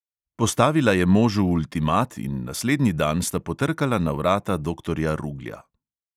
Postavila je možu ultimat in naslednji dan sta potrkala na vrata doktorja ruglja.